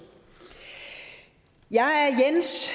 jeg er jens